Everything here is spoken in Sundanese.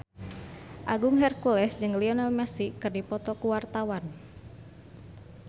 Agung Hercules jeung Lionel Messi keur dipoto ku wartawan